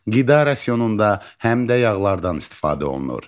Qida rasionunda həm də yağlardan istifadə olunur.